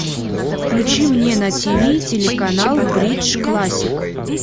включи мне на тв телеканал бридж классик